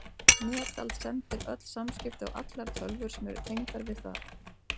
Netald sendir öll samskipti á allar tölvur sem eru tengdar við það.